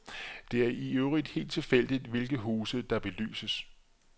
Det er i øvrigt helt tilfældigt, hvilke huse der belyses.